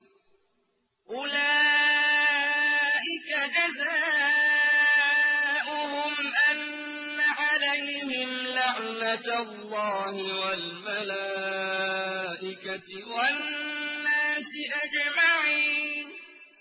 أُولَٰئِكَ جَزَاؤُهُمْ أَنَّ عَلَيْهِمْ لَعْنَةَ اللَّهِ وَالْمَلَائِكَةِ وَالنَّاسِ أَجْمَعِينَ